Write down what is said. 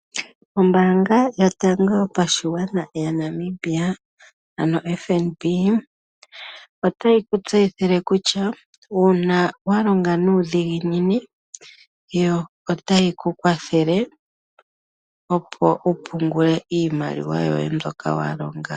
Ombaanga yotango yopashigwana yaNamibia, ano FNB otayi ku tseyithile kutya uuna wa longa nuudhiginini yo otayi ku kwathele opo wu pungile iimaliwa yoye mbyoka wa longa.